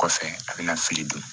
Kɔfɛ a bɛna fili don